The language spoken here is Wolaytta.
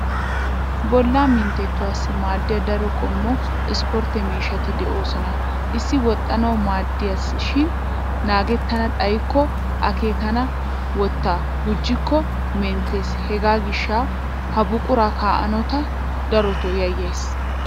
Bollaa minttettuwaassi maadiya daro qommo isportte miishshati de'oosona. Issi woxxanawu maadiyaiishshay naagettana xayikko akeekkenna wottaa gujjikko menttes hegaa gishsha ha buqura kaa'nawu ta darotoo yayyayis.